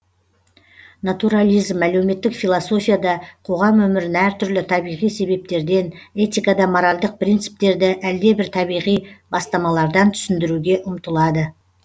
натурализм әлеуметтік философияда қоғам өмірін әр түрлі табиғи себептерден этикада моральдық прициптерді әлдебір табиғи бастамалардан түсіндіруге ұмтылады